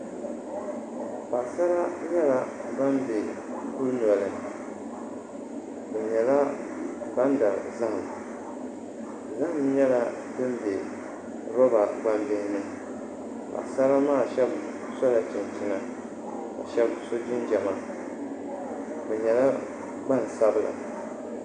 Paɣasara nyɛla ban bɛ kuli nɔli bi nyɛla ban dari zaham zaham nyɛla din bɛ roba gbambihi ni paɣasara maa shab sola chinchina ka shab so jinjɛma bi nyɛla gbansabila